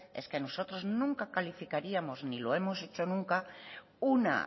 es que nosotros nunca calificaríamos ni lo hemos hecho nunca una